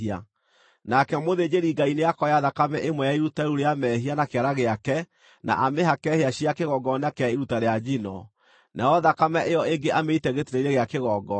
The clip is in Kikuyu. Nake mũthĩnjĩri-Ngai nĩakoya thakame ĩmwe ya iruta rĩu rĩa mehia na kĩara gĩake, na amĩhake hĩa cia kĩgongona kĩa iruta rĩa njino, nayo thakame ĩyo ĩngĩ amĩite gĩtina-inĩ gĩa kĩgongona.